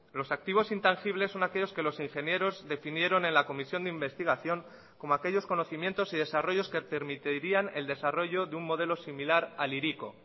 los activos intangibles son aquellos que los ingenieros definieron en la comisión de investigación como aquellos conocimientos y desarrollos que permitirían el desarrollo de un modelo similar al hiriko